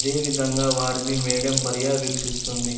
అదేవిధంగా వారిని మేడమ్ పర్యావేక్షిస్తుంది.